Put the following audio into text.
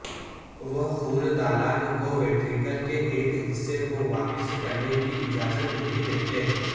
وہ خون دالان کو ویںٹرکل کے ایک حصے کو واپس کرنے کی اجازت نہیں دیتے